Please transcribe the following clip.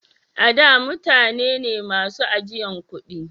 A da mutane ne masu ajiyan kudi